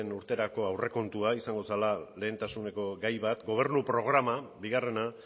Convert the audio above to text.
urterako aurrekontua izango zela lehentasuneko gai bat gobernu programa bigarrena